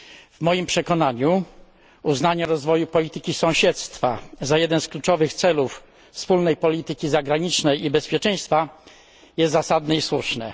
W moim przekonaniu uznanie rozwoju polityki sąsiedztwa za jeden z kluczowych celów wspólnej polityki zagranicznej i bezpieczeństwa jest zasadne i słuszne.